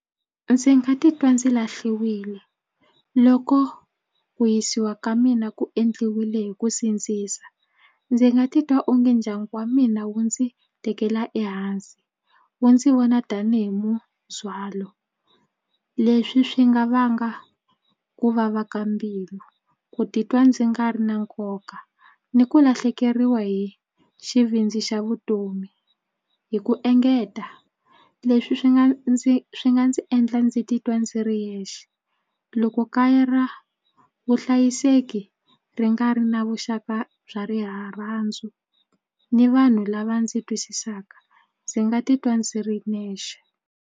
Ndzi nga titwa ndzi lahliwile loko ku yisiwa ka mina ku endliwile hi ku sindzisa. Ndzi nga titwa onge ndyangu wa mina wu ndzi tekela ehansi wu ndzi vona tanihi mundzhwalo. Leswi swi nga vanga ku vava ka mbilu ku titwa ndzi nga ri na nkoka ni ku lahlekeriwa hi xivindzi xa vutomi hi ku engeta leswi swi nga ndzi swi nga ndzi endla ndzi titwa ndzi ri yexe loko kaya ra vuhlayiseki ri nga ri na vuxaka bya rirhandzu ni vanhu lava ndzi twisisaka ndzi nga titwa ndzi ri nexe.